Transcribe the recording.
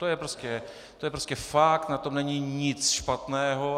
To je prostě fakt, na tom není nic špatného.